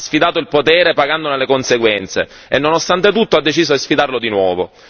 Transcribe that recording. Ha sfidato il potere pagandone le conseguenze e nonostante tutto ha deciso di sfidarlo di nuovo.